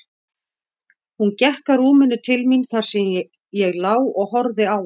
Hún gekk að rúminu til mín þar sem ég lá og horfði á hana.